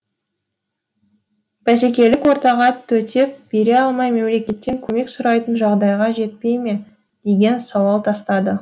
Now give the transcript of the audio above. бәсекелік ортаға төтеп бере алмай мемлекеттен көмек сұрайтын жағдайға жетпей ме деген сауал тастады